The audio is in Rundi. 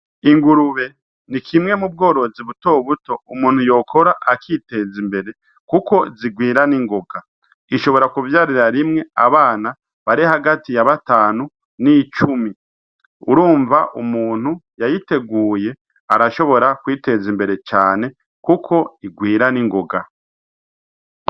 Ingurube ni kimwe mu bworozi butobuto umuntu yokora akiteza imbere, kuko zigwira n'ingoga ishobora kuvyarira rimwe abana bare hagati ya batanu n'icumi urumva umuntu yayiteguye arashobora kwiteza imbere cane, kuko igwira n'ingoga.